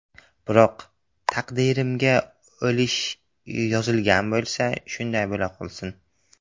Biroq taqdirimga o‘lish yozilgan bo‘lsa, shunday bo‘la qolsin.